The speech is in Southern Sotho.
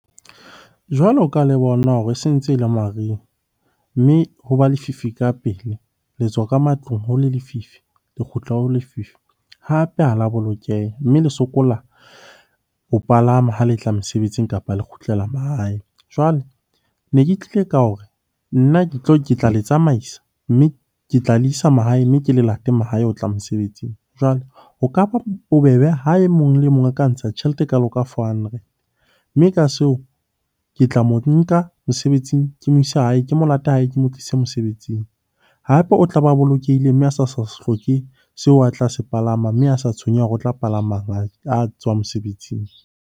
Jwalo ka le bona hore e se ntse e le mariha, mme ho ba lefifi ka pele. Le tswa ka matlung ho le lefifi, le kgutla ho lefifi, hape ha la bolokeha. Mme le sokola ho palama ha le tla mosebetsing, kapa la kgutlela mahae. Jwale ne ke tlile ka hore nna ke tlo tla le tsamaisa mme ke tla le isa mahae, mme ke le late mahae ho tla mosebetsing. Jwale ho ka ba bobebe ha e mong le mong a ka ntsha tjhelete e kalo ka four hundred, mme ka seo ke tla mo nka mosebetsing ke mo ise hae. Ke mo late hae, ke mo tlise mosebetsing. Hape, o tlabe a bolokehile mme a sa sa hloke seo a tla se palama, mme a sa tshwenyeha hore o tla palama a tswa mosebetsing.